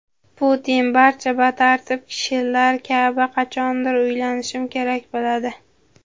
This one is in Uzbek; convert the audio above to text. Putin: "Barcha batartib kishilar kabi qachondir uylanishim kerak bo‘ladi".